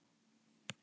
Hann getur átt sig.